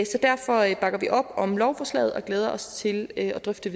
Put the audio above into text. derfor bakker vi op om lovforslaget og glæder os til at drøfte